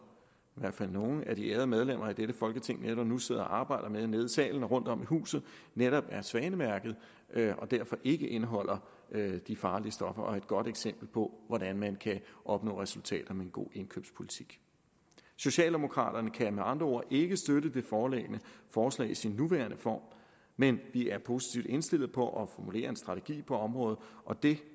i hvert fald nogle af de ærede medlemmer i dette folketing netop nu sidder og arbejder med nede i salen og rundtom i huset netop er svanemærkede og derfor ikke indeholder de farlige stoffer og et godt eksempel på hvordan man kan opnå resultater med en god indkøbspolitik socialdemokraterne kan med andre ord ikke støtte det foreliggende forslag i sin nuværende form men vi er positivt indstillede på at formulere en strategi på området og det